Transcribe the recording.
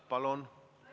Palun!